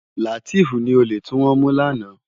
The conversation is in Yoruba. Lateef ni ólé tiwòn mú làná